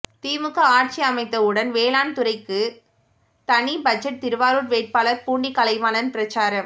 திமுக ஆட்சி அமைந்தவுடன் வேளாண் துறைக்கு தனி பட்ஜெட் திருவாரூர் வேட்பாளர் பூண்டி கலைவாணன் பிரசாரம்